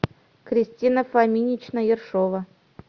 кристина фоминична ершова